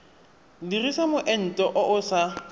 dirisa moento o o sa